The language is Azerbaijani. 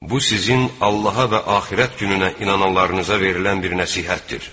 Bu sizin Allaha və axirət gününə inananlarınıza verilən bir nəsihətdir.